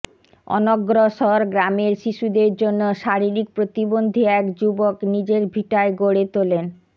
অনগ্রসর গ্রামের শিশুদের জন্য শারীরিক প্রতিবন্ধী এক যুবক নিজের ভিটায় গড়ে তোলেন